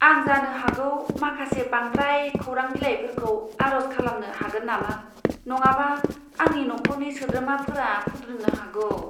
आं जानो हागौ माखासे बांद्राय खौरां बिलाइफोरखौ आर'ज खालामनो हागोन नामा? नङाबा आंनि नखरनि सोद्रोमाफोरा खुद्रिनो हागौ।